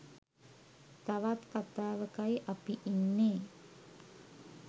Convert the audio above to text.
තවත් කතාවකයි අපි ඉන්නේ.